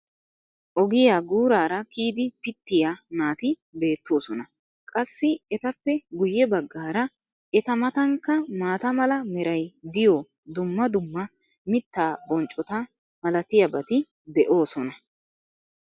ogiyaa guuraara kiyidi pitiya naati beetoosona. qassi etappe guye bagaara eta matankka maata mala meray diyo dumma dumma mitaa bonccota malatiyaabati de'oosona.